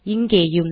இங்கேயும்